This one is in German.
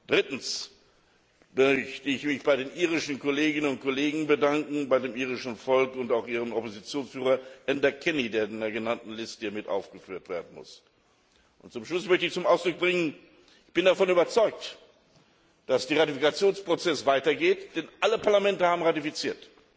Drittens möchte ich mich bei den irischen Kolleginnen und Kollegen bedanken, bei dem irischen Volk und auch ihrem Oppositionsführer Enda Kenny, der in der genannten Liste mit aufgeführt werden muss. Zum Schluss möchte ich zum Ausdruck bringen, dass ich davon überzeugt bin, dass der Ratifikationsprozess weitergeht, denn alle Parlamente haben ratifiziert.